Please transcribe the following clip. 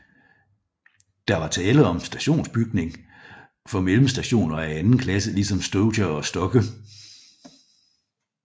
Der var tale om en stationsbygning for mellemstationer af anden klasse ligesom Stoger og Stokke